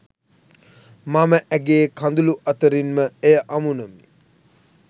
මම ඇගේ කඳුළු අතරින් ම එය අමුණමි